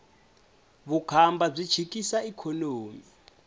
vukhamba byi chikisa ikhonomi